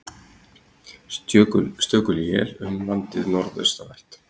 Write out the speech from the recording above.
Stöku él um landið norðaustanvert